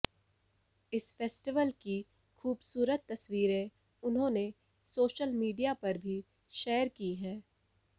इस फेस्टिवल की खूबसूरत तस्वीरें उन्होंने सोशल मीडिया पर भी शेयर की हैं